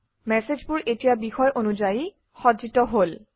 মেচেজবোৰ এতিয়া বিষয় অনুযায়ী সজ্জিত হল